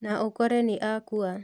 Na ũkore nĩ akua